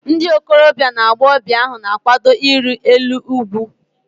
Ndị okorobia na agbọghọbịa ahu na-akwado iri elu ugwu